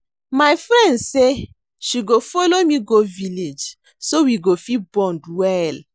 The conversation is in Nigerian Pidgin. My friend say she go follow me go village so we go fit bond well